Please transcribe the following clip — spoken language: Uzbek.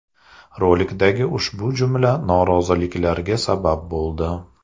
Rolikdagi ushbu jumla noroziliklarga sabab bo‘ldi.